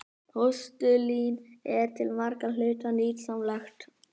Postulín er til margra hluta nytsamlegt.